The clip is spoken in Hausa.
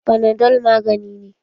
Fanadol magani ne.